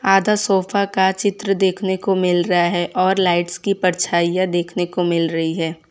आधा सोफा का चित्र देखने को मिल रहा है और लाइट्स की परछाइयां देखने को मिल रही है।